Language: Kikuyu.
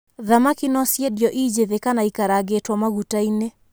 Thamaki no ciendio i njĩthĩ kana ikarangĩtwo maguta-inĩ.